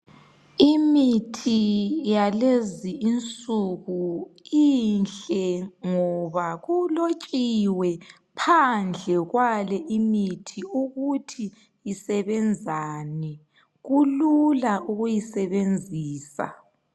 Imithi yalezi insuku inhle ngoba kulotshiwe phandle kwale imithi ukuthi isebenzani kulula ukuyisebenzisa.